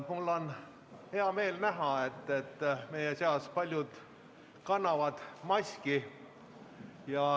Mul on hea meel näha, et paljud meie seast kannavad maski.